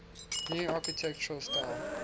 new architectural style